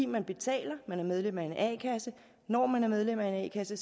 man betaler man er medlem af en a kasse når man er medlem af en a kasse